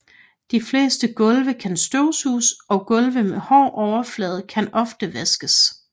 De fleste gulve kan støvsuges og gulve med hård overflade kan oftest vaskes